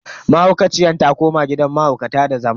Mahaukaciyar ta koma gidan mahaukata da zama.